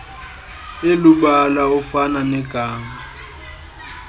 elubala ofana negama